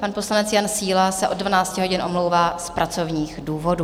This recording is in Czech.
Pan poslanec Jan Síla se od 12 hodin omlouvá z pracovních důvodů.